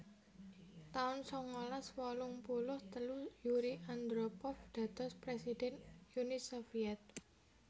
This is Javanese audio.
taun sangalas wolung puluh telu Yuri Andropov dados presiden Uni Soviet